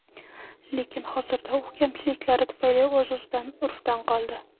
Lekin hozirda u kamchiliklari tufayli o‘z-o‘zidan urfdan qoldi.